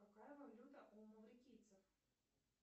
какая валюта у маврикийцев